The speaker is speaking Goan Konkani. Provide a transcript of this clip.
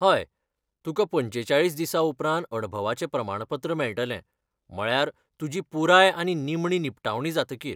हय, तुका पंचेचाळीस दिसा उपरांत अणभवाचें प्रमाणपत्र मेळटलें, म्हळ्यार, तुजी पुराय आनी निमणी निपटावणी जातकीर.